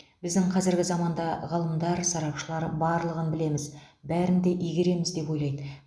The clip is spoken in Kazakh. біздің қазіргі заманда ғалымдар сарапшылар барлығын білеміз бәрін де игереміз деп ойлайды